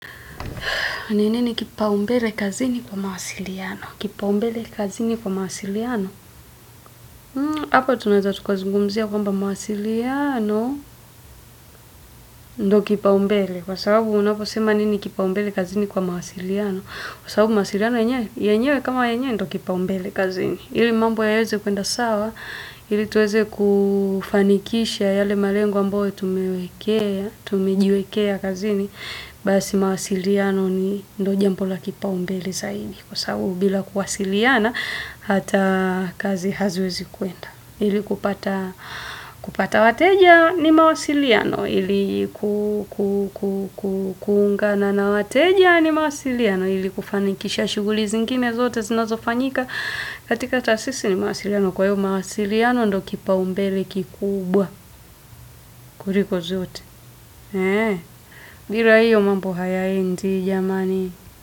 Neneni kipaumbele kazini kwa mawasiliano? Kipaumbele kazini kwa mawasiliano? Hapa tunaweza takazungumzia kwamba mawasiliano, ndo kipaumbele. Kwa sababu unaposema nini kipaumbele kazini kwa mawasiliano Kwa sababu mawasiliano yenyewe, yenyewe kama yenye, ndo kipaumbele kazini. Ili mambo yaeze kuenda sawa, ili tuweze kufanikisha yale malengo ambayo tumewekea, tumejiwekea kazini Basi mawasiliano ni ndo jambo la kipaumbele zaidi. Kwa sababu bila kuwasiliana, hata kazi haziwezi kuenda. Hili kupata wateja ni mawasiliano. Hili kukungana na wateja ni mawasiliano. Hili kufanikisha shuguli zingine zote zinazofanyika katika tasisi ni mawasiliano. Kwa hiyo mawasiliano ndo kipaumbele kikubwa kuriko zote. Bila hiyo mambo hayaendi jamani.